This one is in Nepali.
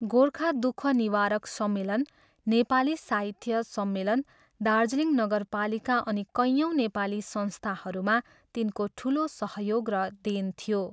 गोर्खा दुःख निवारक सम्मेलन, नेपाली साहित्य सम्मेलन, दार्जिलिङ नगरपालिका अनि कैयौँ नेपाली संस्थाहरूमा तिनको ठुलो सहयोग र देन थियो।